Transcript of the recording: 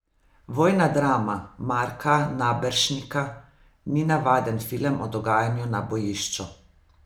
Vojna drama Marka Naberšnika ni navaden film o dogajanju na bojišču.